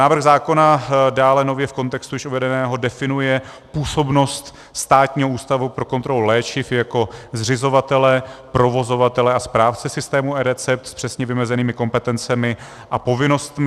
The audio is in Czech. Návrh zákona dále nově v kontextu již uvedeného definuje působnost Státního ústavu pro kontrolu léčiv jako zřizovatele, provozovatele a správce systému eRecept s přesně vymezenými kompetencemi a povinnostmi.